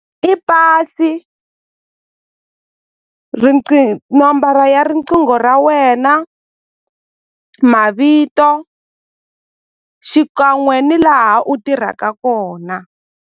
I pasi nomboro ya riqingho ra wena mavito xikan'we ni laha u tirhaka kona.